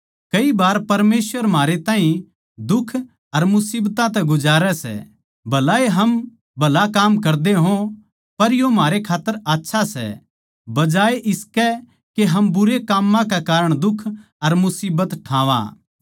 कई बार परमेसवर म्हारे ताहीं दुख अर मुसीबतां तै गुजारै सै भलाए हम भला काम करदे हो पर यो म्हारे खात्तर आच्छा सै बजाए इसकै के हम बुरे काम्मां के कारण दुख अर मुसीबतां ठावां